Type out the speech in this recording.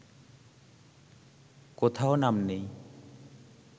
কোথাও নাম নেই